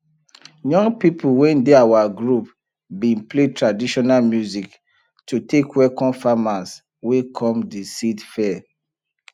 young people wey dey our group bin play traditional music to take welcome farmers wey come de seed fair